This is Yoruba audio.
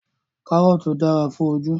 Kàrọ́ọ̀tì dára fún ojú